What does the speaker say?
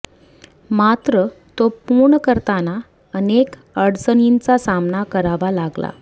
मात्र तो पूर्ण करताना अनेक अडचणींचा सामना करावा लागला